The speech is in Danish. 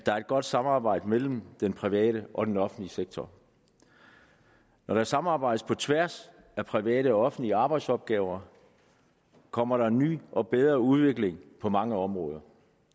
der er et godt samarbejde mellem den private og den offentlige sektor når der samarbejdes på tværs af private og offentlige arbejdsopgaver kommer der en ny og bedre udvikling på mange områder